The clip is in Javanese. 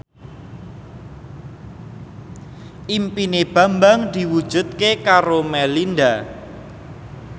impine Bambang diwujudke karo Melinda